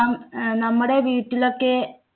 യാം നമ്മുടെ വീട്ടിലൊക്കെ